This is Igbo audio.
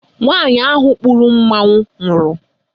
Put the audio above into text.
Nwaanyị ahụ kpuru mmanwụ nwụrụ.